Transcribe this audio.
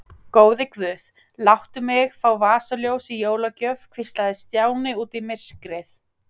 Góði guð, láttu mig fá vasaljós í jólagjöf hvíslaði Stjáni út í myrkrið.